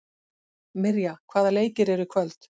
Mirja, hvaða leikir eru í kvöld?